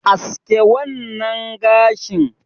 Aske wannan gashin.